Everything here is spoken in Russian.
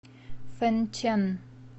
фэнчэн